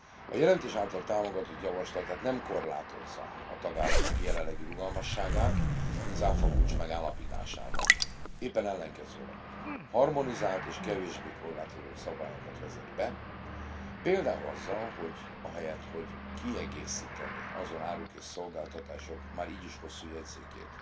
A jelentés által támogatott javaslat tehát nem korlátozza a tagállamok jelenlegi rugalmasságát az áfakulcs megállapításában, éppen ellenkezőleg harmonizált és kevésbé korlátozó szabályokat vezet be, például azzal, hogy ahelyett, hogy kiegészítené azon áruk és szolgáltatások már így is hosszú jegyzékét,